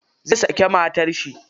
Zai saki matar shi.